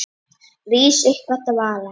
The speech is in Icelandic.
Rís upp af dvala.